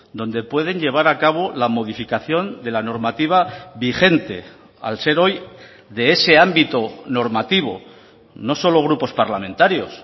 donde pueden llevar a cabo la modificación de la normativa vigente al ser hoy de ese ámbito normativo no solo grupos parlamentarios